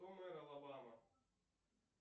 кто мэр алабама